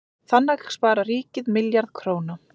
Þannig sparar ríkið milljarð króna.